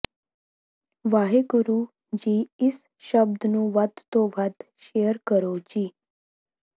ਵਾਹਿਗੁਰੂ ਜੀ ਇਸ ਸ਼ਬਦ ਨੂੰ ਵੱਧ ਤੋਂ ਵੱਧ ਸ਼ੇਅਰ ਕਰੋ ਜੀ